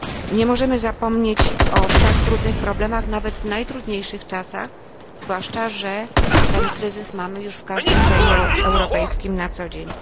Nie możemy zapomnieć o tak trudnych problemach nawet w najtrudniejszych czasach, zwłaszcza że ten kryzys mamy już w każdym kraju europejskim na codzień.